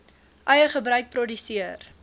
eie gebruik produseer